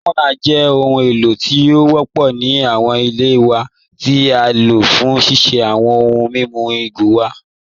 Opunar jẹ̀ ọhun èlò tí o wọ́pọ̀ ni awọn ilẹ̀ wa ti á ló fún ṣíṣí awọn ọ̀hùn mímú igo wa.